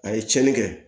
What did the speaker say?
A ye tiɲɛni kɛ